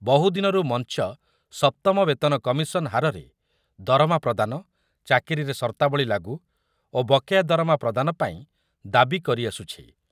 ବହୁ ଦିନରୁ ମଞ୍ଚ ସପ୍ତମ ବେତନ କମିଶନ ହାରରେ ଦରମା ପ୍ରଦାନ, ଚାକିରିରେ ସର୍ତ୍ତାବଳୀ ଲାଗୁ ଓ ବକେୟା ଦରମା ପ୍ରଦାନ ପାଇଁ ଦାବି କରିଆସୁଛି ।